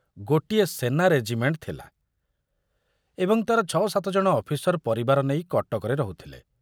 ସେନା ରେଜିମେଣ୍ଟ ଥିଲା ଏବଂ ତାର ଛ ସାତଜଣ ଅଫିସର ପରିବାର ନେଇ କଟକରେ ରହୁଥିଲେ।